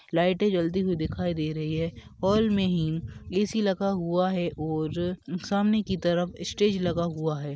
लाइटे जलती हुई दिखाई दे रही है हॉल में ही ए.सी लगा हुआ है और सामने की तरफ स्टेज लगा हुआ है ।